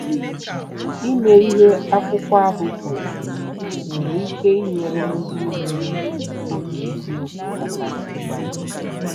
Ime ihe akwụkwọ ahụ kwuru nwere ike inyere ndị nwere obi eziokwu aka ịgbanwe